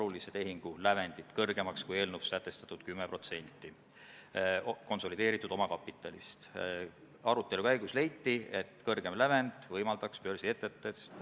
Teine asi, kui sa juba rongis oled ja rong jääb hiljaks üle tunni, siis einet ja karastusjooki ei ole viie aasta jooksul lootust saada, ka nendel, kes invaliid ei ole.